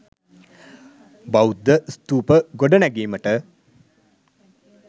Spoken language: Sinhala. බෞද්ධ ස්තූප ගොඩනැගීමට